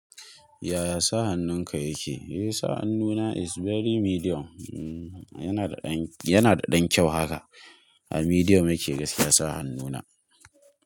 Yaya sa hannunka yake? Eh, sa hannuna is very medium. Yana da ɗan, yana da ɗan kyau haka. A medium yake gaskiya sa hannuna.